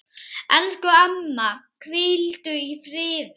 Elsku amma, hvíldu í friði.